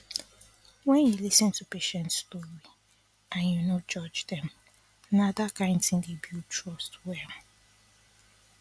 wen you lis ten to patients story and you no judge them that kind thing dey build trust well